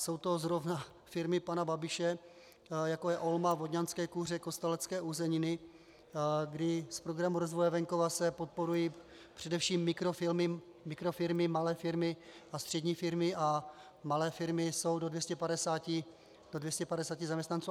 Jsou to zrovna firmy pana Babiše, jako je OLMA, Vodňanské kuře, Kostelecké uzeniny, kdy z Programu rozvoje venkova se podporují především mikrofirmy, malé firmy a střední firmy, a malé firmy jsou do 250 zaměstnanců.